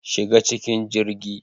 Shiga cikin jirgi